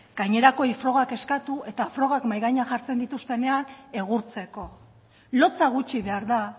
gainerako frogak eskatu eta frogak mahai gainean jartzen dituztenean egurtzeko lotsa gutxi behar da